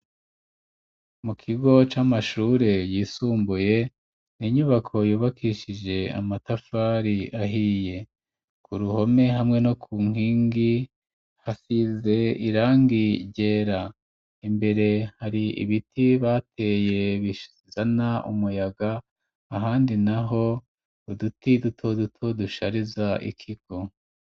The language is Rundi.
Mu kigo c'amashure yisumbuye ninyubako yubakishije amatafari ahiye ku ruhome hamwe no ku nkingi hasize irangigera imbere hari ibiti bateye bishizana umuyaga ahandi naho uduti duto duto dushariza ikigo.